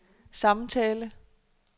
samtale